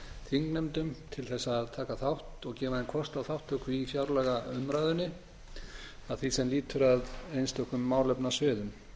þingnefndum til þess að taka þátt og gefa þeim kost á þátttöku í fjárlagaumræðunni að því sem lýtur að einstökum málefnasviðum